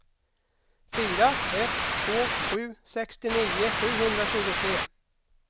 fyra ett två sju sextionio sjuhundratjugotre